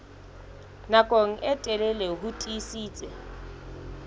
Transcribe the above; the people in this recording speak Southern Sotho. nako e telele ho tiisitse